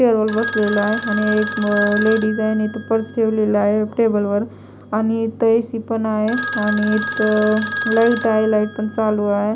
Table वर बसलेलो आहे आणि एक लेडीज आहे आणि इथं पर्स ठेवलेला आहे टेबल वर आणि इथे ए_सी पण आहे आणि इथं लाईट आहे लायटा पण चालू आहे.